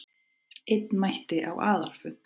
Einn mætti á aðalfund